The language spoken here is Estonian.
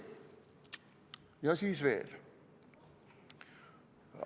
Ja siis veel.